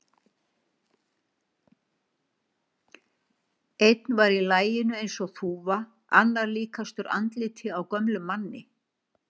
Einn var í laginu eins og þúfa, annar líkastur andliti á gömlum manni.